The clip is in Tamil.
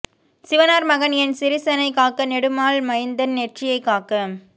சிவனார் மகன் என் சிரசினை காக்க நெடுமால் மைந்தன் நெற்றியை காக்க